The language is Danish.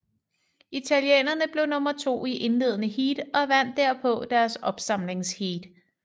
Italienerne blev nummer to i indledende heat og vandt derpå deres opsamlingsheat